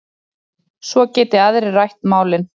Svo geti aðrir rætt málin.